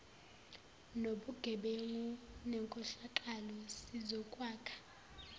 nobugebengu nenkohlakalo sizokwakha